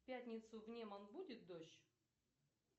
в пятницу в неман будет дождь